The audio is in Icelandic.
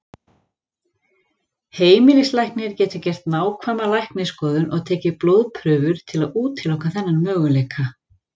Heimilislæknir getur gert nákvæma læknisskoðun og tekið blóðprufur til að útiloka þennan möguleika.